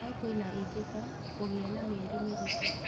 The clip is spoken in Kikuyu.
No kwĩna ĩngĩ ta; kũgĩa na mĩeri mĩritũ